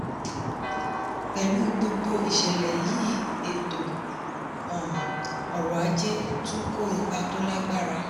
pẹ̀lú gbogbo ìṣẹ̀lẹ̀ yìí ètò um ọrọ̀ ajé tún kó ipa tó lágbára.